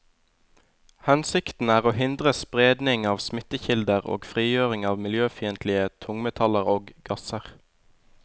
Hensikten er å hindre spredning av smittekilder og frigjøring av miljøfiendtlige tungmetaller og gasser.